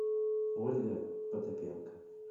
ольга потапенко